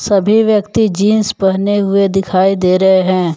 सभी व्यक्ति जींस पहने हुए दिखाई दे रहे हैं।